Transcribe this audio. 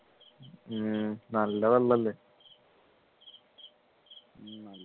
ഉം നല്ല വെള്ളല്ലേ